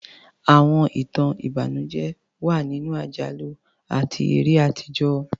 Àwọn ìtàn ìbànújẹ́ wà nínú àjálù àti eré àtijọ́.